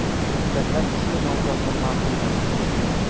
Deputatlar ushbu nomzodni ma’qulladi.